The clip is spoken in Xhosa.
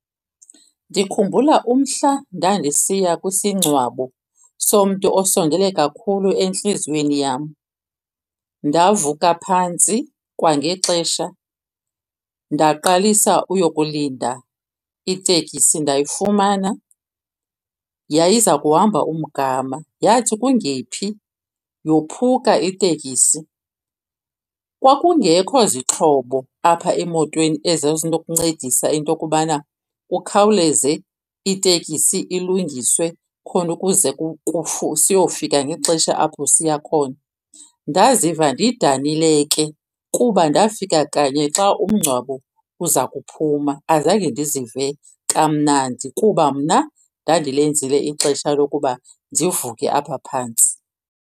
Ndikhumbula umhla ndandisiya kwisingcwabo somntu osondele kakhulu entliziyweni yam. Ndavuka phantsi kwangexesha ndaqalisa uyokulinda iteksi ndayifumana. Yayiza kuhamba umgama, yathi kungephi yophuka iteksi. Kwakungekho zixhobo apha emotweni ezazinokuncedisa into yokubana kukhawuleze iteksi ilungiswe khona ukuze siyofika ngexesha apho siya khona. Ndaziva ndidanile ke kuba ndafika kanye xa umngcwabo uza kuphuma. Azange ndizive kamnandi kuba mna ndandilenzile ixesha lokuba ndivuke apha phantsi.